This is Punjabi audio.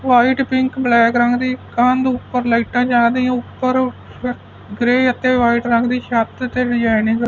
ਵਾਈਟ ਪਿੰਕ ਬਲੈਕ ਰੰਗ ਦੀ ਕੰਧ ਉੱਪਰ ਲਾਈਟਾਂ ਜਾਦਿਆਂ ਉੱਪਰ ਗ੍ਰੇ ਅਤੇ ਵਾਈਟ ਰੰਗ ਦੀ ਛੱਤ ਤੇ ਡਿਜ਼ਾਇਨਿੰਗ --